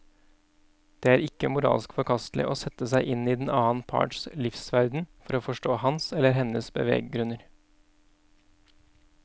Det er ikke moralsk forkastelig å sette seg inn i den annen parts livsverden for å forstå hans eller hennes beveggrunner.